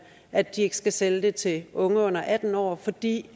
at de ikke skal sælge det til unge under atten år fordi